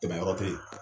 Tɛmɛ yɔrɔ te yen